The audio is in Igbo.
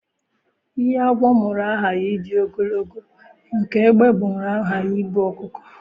Ihe agwọ mụrụ aghaghị ịdị ogologo, nke egbe mụrụ aghaghị ibu ọkụkọ.